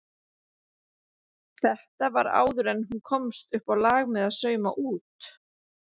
Þetta var áður en hún komst uppá lag með að sauma út.